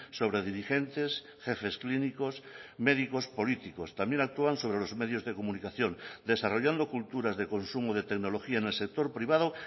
sobre dirigentes jefes clínicos médicos políticos también actúan sobre los medios de comunicación desarrollando culturas de consumo de tecnología en el sector privado